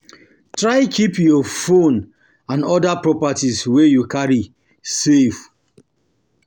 Try keep your phone and your phone and other properties wey you carry safe